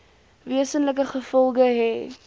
wesenlike gevolge hê